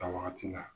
A wagati la